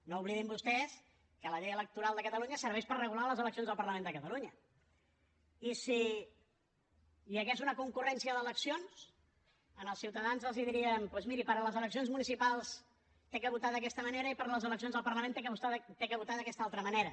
no oblidin vostès que la llei electoral de catalunya serveix per regular les eleccions al parlament de catalunya i si hi hagués una concurrència d’eleccions als ciutadans els diríem doncs miri per a les eleccions municipals ha de votar d’aquesta manera i per a les eleccions al parlament ha de votar d’aquesta altra manera